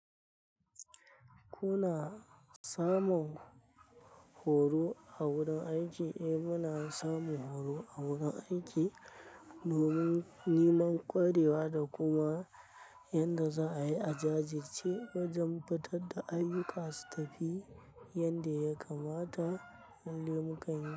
Ku na samun horo a wurin aiki, eh muna samun horo a wurin aiki domin niman kwarewa da kuma yanda za'ayi a jajjirci wajan fitar da ayuka su tafi yanda ya kamata, lalle mukanyi.